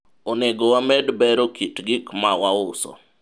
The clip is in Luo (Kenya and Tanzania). onego wamed bero kit gik ma wauso